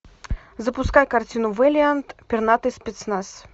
запускай картину вэлиант пернатый спецназ